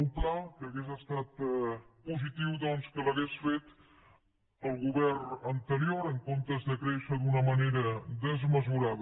un pla que hauria estat positiu doncs que l’hagués fet el govern anterior en comptes de créixer d’una manera desmesurada